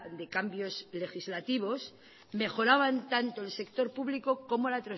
de cambios legislativos mejoraban tanto el sector público como